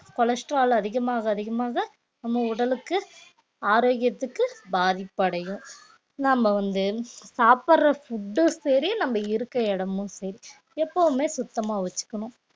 cholesterol அதிகமாக அதிகமாக நம்ம உடலுக்கு ஆரோக்கியத்துக்கு பாதிப்படையும் நம்ம வந்து சாப்பிடுற food உ சரி நம்ம இருக்க இடமும் சரி எப்பவுமே சுத்தமா வச்சுக்கணும்